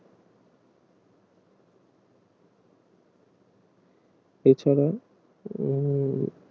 এছাড়া উহ